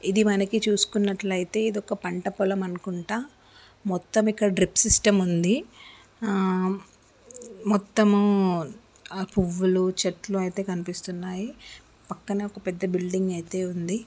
ఇది మనకి చూసుకునట్లయితే ఇది ఒక పంట పొలం అనుకుంట. మొత్తమ్ ఇక్కడ డ్రిప్ సిస్టం ఉంది. ఆ మొత్తము ఆ పువ్వులు చెట్లు అయితే కనిపిస్తున్నాయి. పక్కనే ఒక బిల్డింగ్ అయితే ఉంది.